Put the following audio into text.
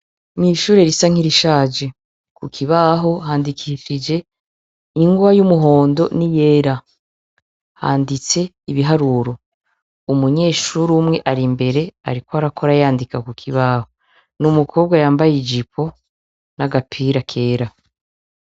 Mw' ishure risa nkirishaje. Ku kibaho handikishije ingwa y' umuhondo n' iyera. Handitse ibiharuro. Umunyeshure umwe ari imbere ariko arakora yandika ku kibaho. N’umukobwa yambaye ijipo n'agapira kera.